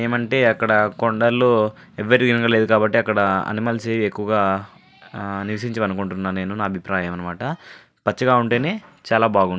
ఏమంటే అక్కడ కొండల్లో ఎవరు తిరగట్లేదు కాబ్బటి అనిమల్స్ ఏవి ఎక్కువ నివసించావ్ అనుకుంట న అభిప్రాయం పచ్చగా ఉంటేనే చాల బాగుంటే --